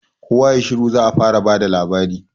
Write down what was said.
kowa yayi shiru za'a fara bada labari